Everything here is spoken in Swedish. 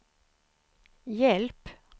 hjälp